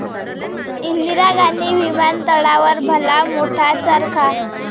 इंदिरा गांधी विमानतळावर भला मोठा चरखा